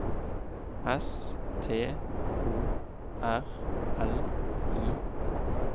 S T O R L I